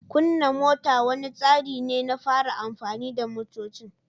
Kunna mota wani tsari ne na fara amfani da motocin.